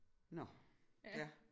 Nåh ja